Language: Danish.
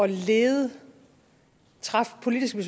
lede træffe politiske